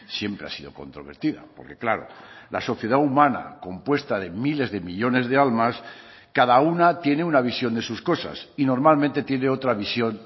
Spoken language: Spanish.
siempre ha sido controvertida porque claro la sociedad humana compuesta de miles de millónes de almas cada una tiene una visión de sus cosas y normalmente tiene otra visión